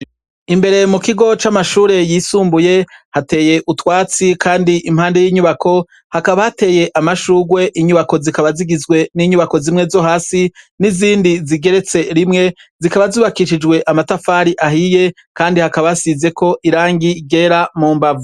Imbere mu kigo c'amashure yisumbuye hateye utwatsi kandi impande y'inyubako hakaba hateye amashurwe ,inyubako zikaba zigizwe n'inyubako zimwe zo hasi n'izindi zigeretse rimwe zikaba zubakishijwe amatafari ahiye kandi hakaba hasizeko irangi ryera mu mbavu.